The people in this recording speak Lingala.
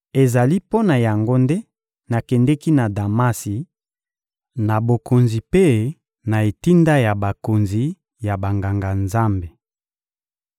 Ezali mpo na yango nde nakendeki na Damasi, na bokonzi mpe na etinda ya bakonzi ya Banganga-Nzambe.